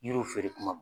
Yiriw feere kuma